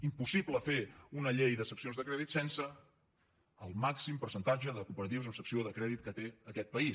impossible fer una llei de seccions de crèdit sense el màxim percentatge de cooperatives amb secció de crèdit que té aquest país